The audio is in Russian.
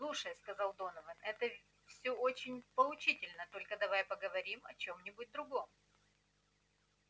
слушай сказал донован это всё очень поучительно только давай поговорим о чём-нибудь другом